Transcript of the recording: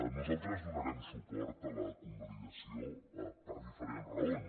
nosaltres donarem suport a la convalidació per diferents raons